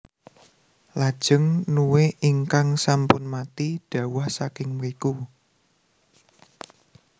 Lajeng nue ingkang sampun mati dhawah saking mriku